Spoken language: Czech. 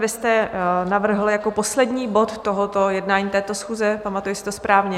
Vy jste navrhl jako poslední bod tohoto jednání této schůze, pamatuji si to správně?